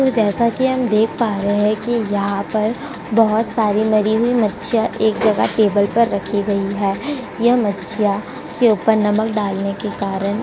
तो जैसा कि हम देख पा रहे हैं कि यहाँ पर बहोत सारी मरी हुई मच्छियां एक जगह टेबल पर रखी गई है। यह मच्छियां के ऊपर नमक डालने के कारण --